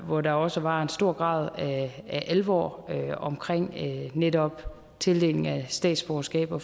hvor der også var en stor grad af alvor omkring netop tildelingen af statsborgerskaber